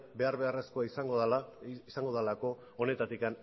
behar beharrezkoa izango delako honetatik